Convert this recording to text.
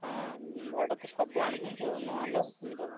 ହଁ ଭଡା ତ ସବୁ ଆଣୁଛନ୍ତି ଆଉ ନ ଆଣିଲେ କେମିତି ହବ?